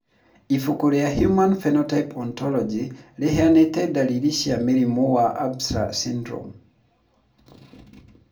Ibuku rĩa Human Phenotype Ontology rĩheanĩte ndariri ici cia mũrimũ wa Ambras syndrome.